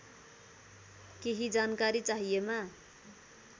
केही जानकारी चाहिएमा